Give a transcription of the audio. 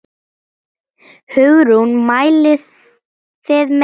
Hugrún: Mælið þið með þessu?